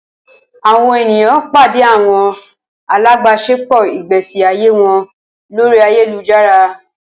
Awọn eniyan pade awọn alabaṣepọ igbesi aye wọn lori ayelujara